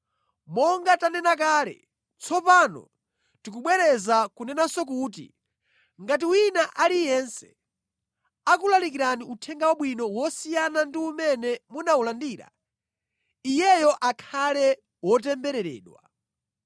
Monga tanena kale, tsopano ndikubwereza kunenanso kuti, “Ngati wina aliyense akulalikirani Uthenga Wabwino wosiyana ndi umene munawulandira, iyeyo akhale wotembereredwa.”